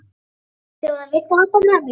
Þjóðar, viltu hoppa með mér?